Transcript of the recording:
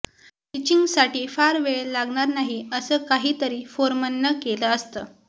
टचिंगसाठी फार वेळ लागणार नाही असं काही तरी फोरमननं केलं असतं